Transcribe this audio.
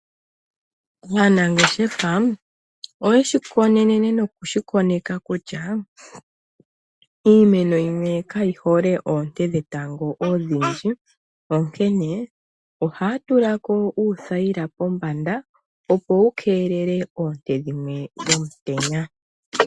Aanangeshefa oye shi konene nokushi koneka kutya iimeno yimwe kayi hole oonte dhetango odhindji ,onkene ohaya tula ko uuthaila pombanda opo wu keelele oonte dhimwe dhomutenya.